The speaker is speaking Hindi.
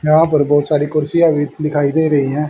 यहां पर बहुत सारी कुर्सियां भी दिखाई दे रही हैं।